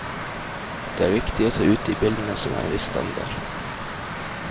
Det er viktig å ta ut de bildene som har en viss standard.